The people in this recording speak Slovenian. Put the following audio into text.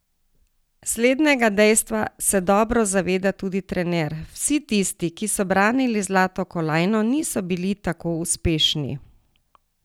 Slednjega dejstva se dobro zaveda tudi trener: 'Vsi tisti, ki so branili zlato kolajno, nisi bili tako uspešni.